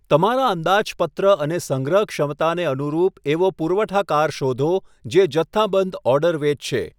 તમારા અંદાજપત્ર અને સંગ્રહ ક્ષમતાને અનુરૂપ એવો પુરવઠાકાર શોધો જે જથ્થાબંધ ઓર્ડર વેચશે.